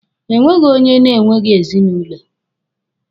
E nweghi onye na-enweghi ezinụlọ.